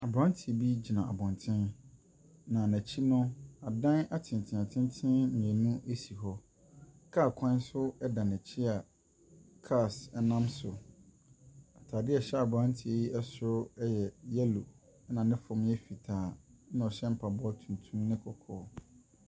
Aberanteɛ bi gyina abɔnten, na n'akyi no, adan atenatente mmienu si hɔ. Kaa kwan nso da n'akyi a cars nam so. Atadeɛ a ɛhyɛ aberanteɛ yi soro yɛ yellow, ɛnna ne fam yɛ fitaa, ɛnna ɔhyɛ mpaboa tuntum ne kɔkɔɔ.